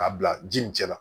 K'a bila ji nin cɛ la